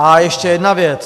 A ještě jedna věc.